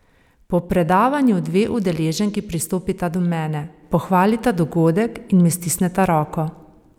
Po predavanju dve udeleženki pristopita do mene, pohvalita dogodek in mi stisneta roko.